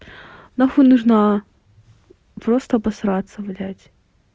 нахуй нужна просто обосраться блядь